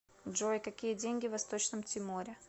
джой какие деньги в восточном тиморе